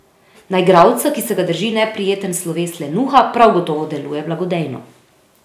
Na igralca, ki se ga drži neprijeten sloves lenuha, prav gotovo deluje blagodejno.